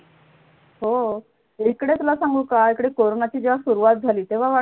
हो इकडे तुला सांगू का इकडे corona ची जाम सुरुवात झाली